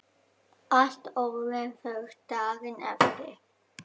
Allt orðið þurrt daginn eftir.